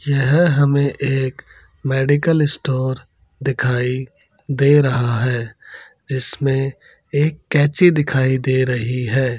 यह हमें एक मेडिकल स्टोर दिखाई दे रहा है इसमें एक कैंची दिखाई दे रही है।